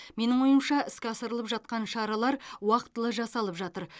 менің ойымша іске асырылып жатқан шаралар уақытылы жасалып жатыр